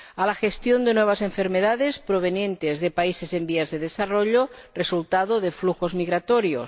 a la gestión de nuevas enfermedades provenientes de países en vías de desarrollo, resultado de flujos migratorios